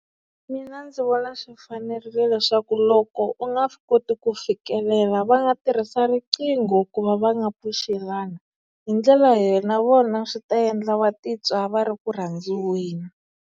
Mina ndzi vona swi fanerile leswaku loko u nga swi koti ku fikelela va nga tirhisa riqingho ku va va nga pfuxelana hi ndlela leyi na vona swi ta endla va titwa va ri ku rhandziweni.